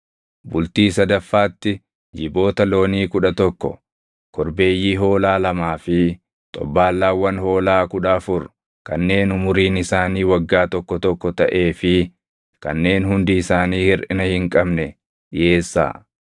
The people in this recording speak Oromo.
“ ‘Bultii sadaffaatti jiboota loonii kudha tokko, korbeeyyii hoolaa lamaa fi xobbaallaawwan hoolaa kudha afur kanneen umuriin isaanii waggaa tokko tokko taʼee fi kanneen hundi isaanii hirʼina hin qabne dhiʼeessaa.